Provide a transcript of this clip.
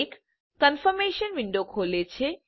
એક confirmation window ખોલે છે